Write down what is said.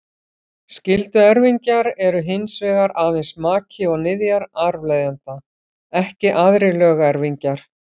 Skylduerfingjar eru hins vegar aðeins maki og niðjar arfleifanda, ekki aðrir lögerfingjar.